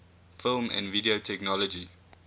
film and video technology